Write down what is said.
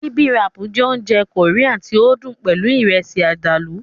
Bibimbap jẹ́ oúnjẹ Korean tí ó dùn pẹlú Ìrẹ́sì àdàlù